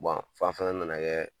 Bon fan fana nana kɛ